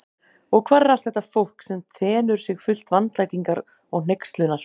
Og hvar er allt þetta fólk, sem þenur sig fullt vandlætingar og hneykslunar?